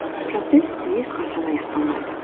процесс ешқашан аяқталмайды